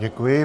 Děkuji.